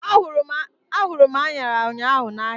A hụrụ m anyara ụnyaahụ n'ahia